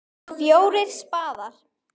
FJÓRIR spaðar.